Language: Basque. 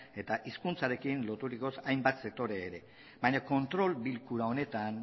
eta hizkuntzarekin loturiko hainbat sektore ere baina kontrol bilkura honetan